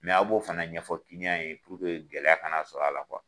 aw b'o fana ɲɛfɔ ye gɛlɛya kana sɔrɔ a la